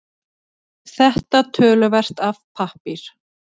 Þetta töluvert af pappír